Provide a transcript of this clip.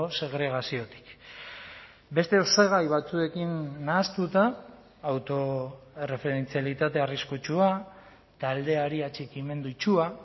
segregaziotik beste osagai batzuekin nahastuta autoerreferentzialitate arriskutsua taldeari atxikimendu itsua